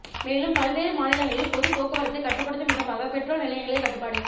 மேலும் பல்வேறு மாநிலங்களில் பொது போக்குவரத்தை கட்டுப்படுத்தும் விதமாக பெட்ரோல் நிலையங்களில் கட்டுப்பாடு